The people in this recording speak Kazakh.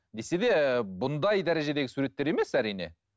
десе де бұндай дәрежедегі суреттер емес әрине